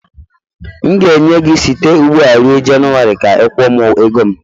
M ga-enye gị site ugbu a ruo January ka ị kwụọ m ego m.